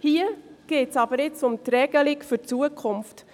Hier geht es jetzt aber um die Regelung für die Zukunft.